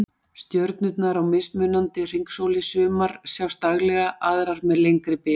Stjörnurnar á mismunandi hringsóli, sumar sjást daglega, aðrar með lengri bilum